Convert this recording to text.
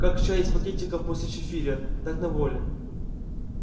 как чай из пакетиков после чифиря так на воле